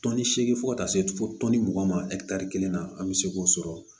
Tɔnni segin fo ka taa se fo tɔnni mugan ma kelen na an bɛ se k'o sɔrɔ